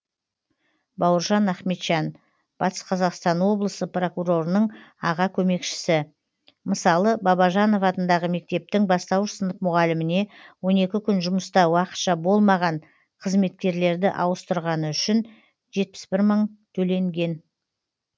бауыржан ахметжан батыс қазақстан облысы прокурорының аға көмекшісі мысалы бабажанов атындағы мектептің бастауыш сынып мұғаліміне он екі күн жұмыста уақытша болмаған қызметкерлерді ауыстырғаны үшін жетпіс бір мың төленген